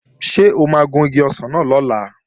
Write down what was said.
Ṣé o máa gun igi ọsàn náà lọ́la?